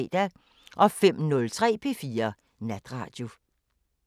05:03: P4 Natradio